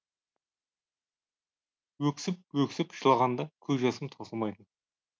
өксіп өксіп жылағанда көз жасым таусылмайтын